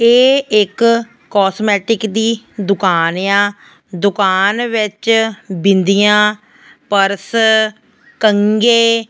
ਇਹ ਇੱਕ ਕਾਸਮੈਟਿਕ ਦੀ ਦੁਕਾਨ ਆ ਦੁਕਾਨ ਵਿਚ ਬਿੰਦੀਆਂ ਪਰਸ ਕੰਘੇ--